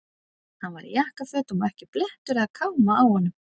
Hann var í jakkafötum og ekki blettur eða káma á honum.